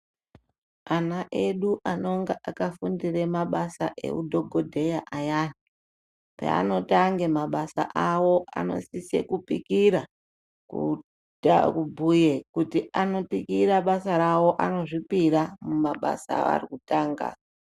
Ana edu anonga akafundire mabasa ehudhogodheya ayani, peanotange mabasa awo anosise kupikira kubhuye kuti anopikira basa rawo, anozvipira mumabasa avari kutanga.